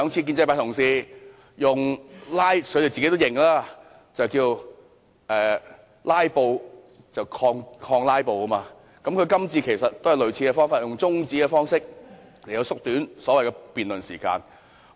建制派同事也承認，之前兩次是以"拉布"抗"拉布"，他這次也是採取類似的做法，以中止辯論的方式縮短討論時間。